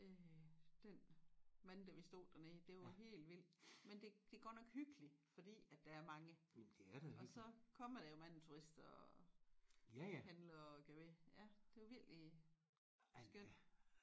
Øh den mandag vi stod dernede det var helt vildt men det det godt nok hyggeligt fordi at der er mange og så kommer der jo mange turister og handler og gør ved ja det var virkelig skønt